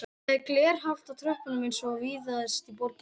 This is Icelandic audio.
Það er glerhált á tröppunum eins og víðast í borginni